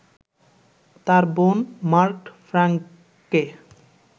তাঁর বোন মার্গট ফ্র্যাংককে